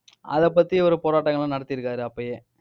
அதைப் பத்தி ஒரு போராட்டங்கள் எல்லாம் நடத்திருக்காரு அப்பயே.